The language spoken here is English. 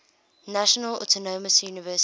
national autonomous university